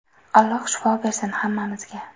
Alloh shifo bersin hammamizga.